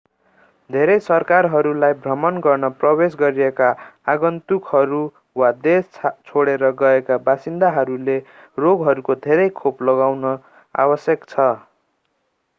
धेरै सरकारहरूलाई भ्रमण गर्न प्रवेश गरेका आगन्तुकहरू वा देश छोडेर गएका बासिन्दाहरूले रोगहरूको धेरै खोप लगाउन आवश्यक छ